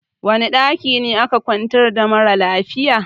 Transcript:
Wani ɗaki aka kwantar da mara lafiyan?